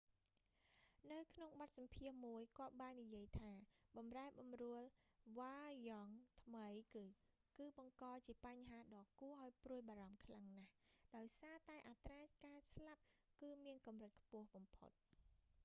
នៅក្នុងបទសម្ភាសន៍មួយ គាត់បាននិយាយថាបម្រែបម្រួលវ៉ារ្យង់ថ្មីគឺ គឺបង្កជាបញ្ហាដ៏ឱ្យព្រួយបារម្ភខ្លាំងណាស់ដោយសារតែអត្រាការស្លាប់គឺមានកម្រិតខ្ពស់បំផុត